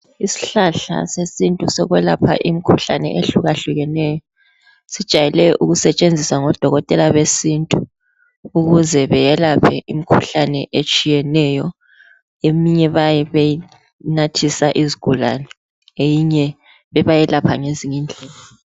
Isihlahla sesintu sokwelapha imikhuhlanye ehlukahlukeneyo. Sijayele ukusetshenziswa ngodokotela besintu ukuze beyelaphe imikhuhlane etshiyeneyo. Eminye bayabe benathisa izigulane, eyinye bebayelapha ngezinye indlela.